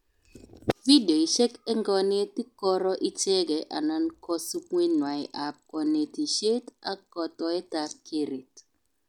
Videoishek eng konetik koro icheke anan kasubetnwai ab konetishet ak kotoetab keret